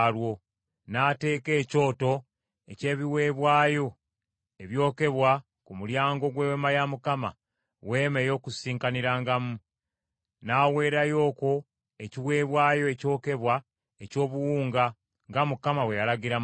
N’ateeka ekyoto eky’ebiweebwayo ebyokebwa ku mulyango gw’Eweema ya Mukama , Weema ey’Okukuŋŋaanirangamu, n’aweerayo okwo ekiweebwayo ekyokebwa eky’obuwunga, nga Mukama bwe yalagira Musa.